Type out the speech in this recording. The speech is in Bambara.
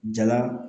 Jala